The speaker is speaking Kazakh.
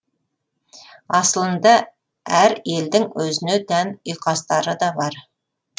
асылында әр елдің өзіне тән ұйқастары да бар